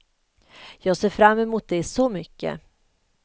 Jag ser fram mot det så mycket.